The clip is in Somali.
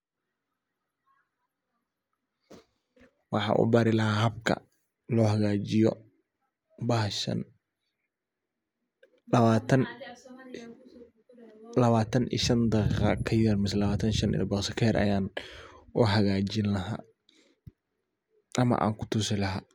Waxa uu baari laha habkaa loo hagaajiyo bahaashan lawaatan lawaatan iyo shaan daqiiqo kaa yaar maseh lawataan iyo shaan ilbiriiqsi kaa yaar ayaan uu hagaajin laaha amaa aan kuu tuusi laha.